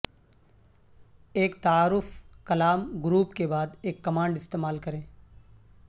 ایک تعارف کلام گروپ کے بعد ایک کمانڈ استعمال کریں